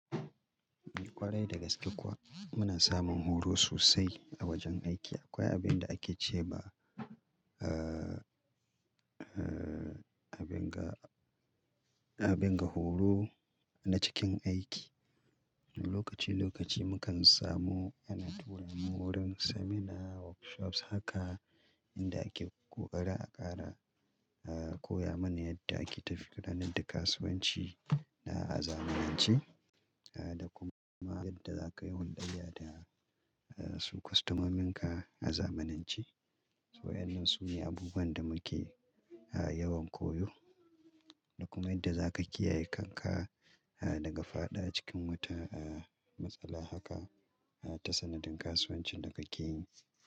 Kwarai dagaske kuwa muna samun horo sosai a wajen aiki. Akwai abin da ake ce ba, abin ga, abin ga horo na cikin aiki. Lokaci lokaci mukan samu ana tura mu wurin seminar, workshops haka inda ake ƙoƙari a ƙara koya mana yadda ake tafiya gudanar da kasuwanci na a zamanance da kuma yadda za kayi hulɗayya da su kwastamomin ka a zamanance. So wan nan sune abubuwan da muke yawan koyo da kuma yadda za ka kiyaye kanka daga fada cikin wata matsala haka ta sanadin kasuwancin da kake yi.